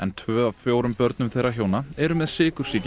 tvö af fjórum börnum þeirra hjóna eru með sykursýki